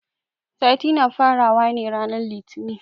Sati na fara wa ne ranan litinin.